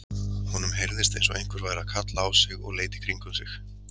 Honum heyrðist eins og einhver væri að kalla á sig og leit í kringum sig.